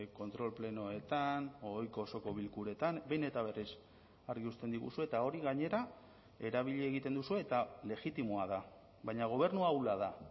kontrol plenoetan ohiko osoko bilkuretan behin eta berriz argi uzten diguzue eta hori gainera erabili egiten duzue eta legitimoa da baina gobernua ahula da